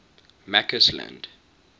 mccausland